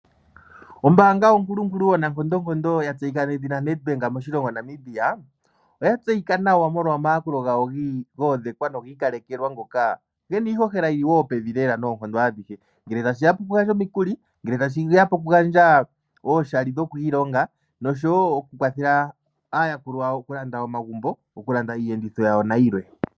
Ombaanga onkulunkulu, onankondonkondo ya tseyika nedhina NEDBANK moshilongo Namibia oya tseyika nawa molwa omayakulo gayo go ondhekwa nogi ikalekelwa ngoka gena iihohela yili wo pevi lela noonkondo adhihe, ngele tashi ya pokugandja omikuli, ngele tashi ya pokugandja oshimaliwa shokwiilonga noshowo okukwathela aayakulwa yawo okulanda omagumbo, okulanda iiyenditho yawo nayilwe.